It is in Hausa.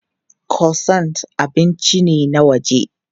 Croissant abinci ne na waje.